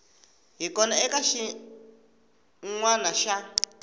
hi kona eka xinawana xa